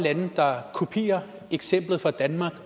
lande der kopierer eksemplet fra danmark